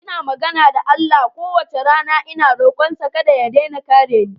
Ina magana da Allah kowace rana ina rokonsa kada ya daina kare ni.